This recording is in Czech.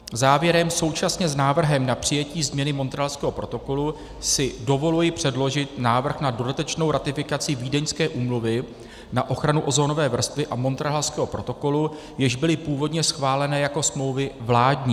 Závěrem současně s návrhem na přijetí změny Montrealského protokolu si dovoluji předložit návrh na dodatečnou ratifikaci Vídeňské úmluvy na ochranu ozonové vrstvy a Montrealského protokolu, jež byly původně schváleny jako smlouvy vládní.